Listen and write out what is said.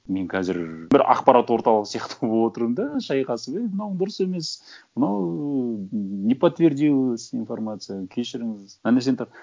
мен қазір бір ақпарат орталығы сияқты болып отырмын да шайқасып ей мынауың дұрыс емес мынау не подтвердилась информация кешіріңіз ана жерден тап